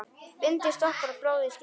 Bindi stoppar blóð í skyndi.